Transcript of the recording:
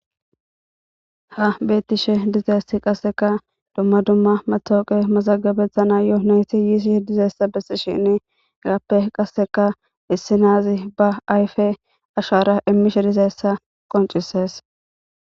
ha beettishe dizeesi qasseka dumma dumma matooqe mazagabetha na yooonayti yiisi dizeessa bessishin gappe qasseka issi naazi ba ayfe ashara immishe dizeessa qoncises